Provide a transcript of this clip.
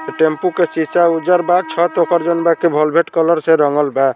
ये टेंपो के शीशा उज्जर बा छत ओकर जौन बा की वोल्वेट कलर से रंगल बा।